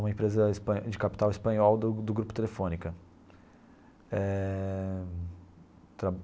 uma empresa espa de capital espanhol do do Grupo Telefônica eh.